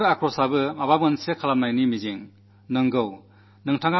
ഈ രോഷവും എന്തെങ്കിലും ചെയ്യാനുള്ള ദൃഢസങ്കല്പവുമുണ്ട്